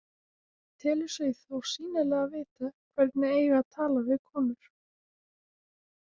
Telur sig þó sýnilega vita hvernig eigi að tala við konur.